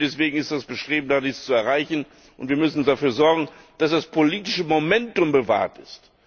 Und deswegen ist, was beschrieben worden ist, zu erreichen, und wir müssen dafür sorgen, dass das politische Momentum gewahrt ist.